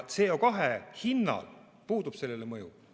CO2 hinnal puudub sellele mõju.